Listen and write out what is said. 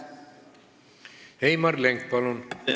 Heimar Lenk, palun!